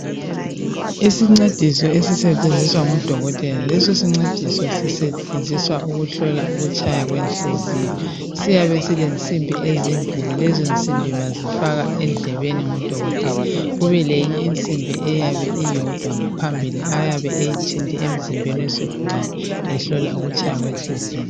Isincediso esisetshenziswa ngudokotela. Lesisincediso sisetshenziswa ukuhlola ukutshaya kwenhliziyo. Siyabe silensimbi ezimbili , lezonsimbi bazifaka endlebeni ngudokotela kube leyinye insimbi eyabe iyodwa ngaphambili ayabe eyithinte emzimbeni wezigulane ehlola ukutshaya kwenhliziyo.